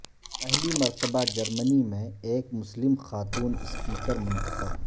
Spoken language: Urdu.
پہلی مرتبہ جرمنی میں ایک مسلم خاتون اسپیکر منتخب